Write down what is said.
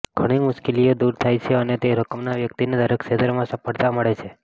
ઘણી મુશ્કેલીઓ દૂર થાય છે અને તે રકમના વ્યક્તિને દરેક ક્ષેત્રમાં સફળતા મળે છે